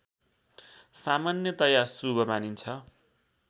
सामान्यतया शुभ मानिन्छ